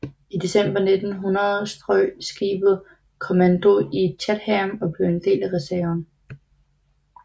I december 1900 strøg skibet kommando i Chatham og blev en del af reserven